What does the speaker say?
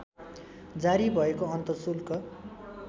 जारी भएको अन्तशुल्क